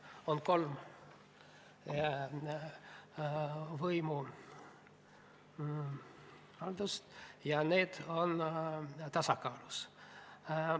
On kolm võimu ja need on tasakaalus.